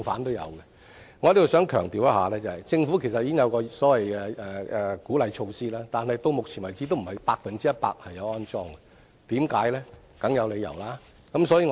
我想在這裏強調，政府其實已有所謂的鼓勵措施，但到目前為止，也並非全部的樓宇安裝了充電設施，為甚麼？